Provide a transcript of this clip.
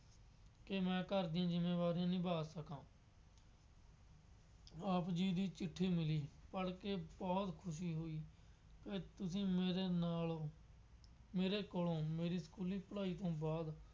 ਕਿ ਮੈਂ ਘਰ ਦੀਆ ਜ਼ਿੰਮੇਵਾਰੀਆਂ ਨਿਭਾ ਸਕਾਂ। ਆਪ ਜੀ ਦੀ ਚਿੱਠੀ ਮਿਲੀ। ਪੜ੍ਹ ਕੇ ਬਹੁਤ ਖੁਸ਼ੀ ਹੋਈ। ਅੱਜ ਤੁਸੀਂ ਮੇਰੇ ਨਾਲ ਮੇਰੇ ਕੋਲੋਂ ਮੇਰੀ ਸਕੂਲੀ ਪੜ੍ਹਾਈ ਤੋਂ ਬਾਅਦ